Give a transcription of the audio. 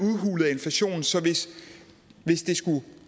inflationen så hvis